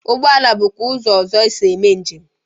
Ụgboala bụkwa ụzọ ọzọ esi eme njem.